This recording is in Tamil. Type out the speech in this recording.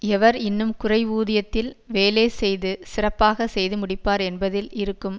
எவர் இன்னும் குறைவூதியத்தில் வேலேசெய்து சிறப்பாக செய்துமுடிப்பார் என்பதில் இருக்கும்